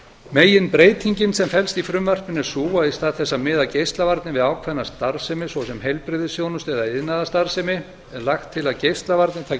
meginbreytingin sem felst í frumvarpinu er sú að í stað þess að miða geislavarnir við ákveðna starfsemi svo sem heilbrigðisþjónustu eða iðnaðarstarfsemi er lagt til að geislavarnir taki